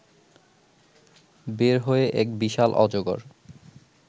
বের হয়ে এক বিশাল অজগর